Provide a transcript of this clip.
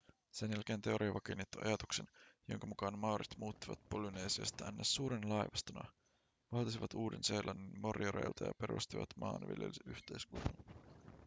sen jälkeen teoria vakiinnutti ajatuksen jonka mukaan maorit muuttivat polynesiasta ns suurena laivastona valtasivat uuden-seelannin morioreilta ja perustivat maanviljelysyhteiskunnan